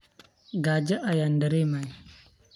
Kaaja aan daremoya.